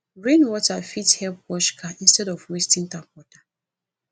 rain water fit help wash car instead of wasting tap water